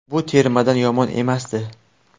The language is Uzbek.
Bu termadan yomon emasdi.